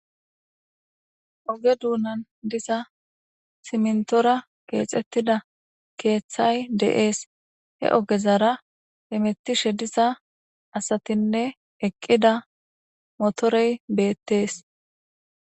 oge duunan diza simintora keexettida keeththay de7ees he ogezara hemettishe diza asatinne eqqida motorey beettees.